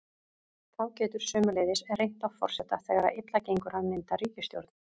Þá getur sömuleiðis reynt á forseta þegar þegar illa gengur að mynda ríkisstjórn.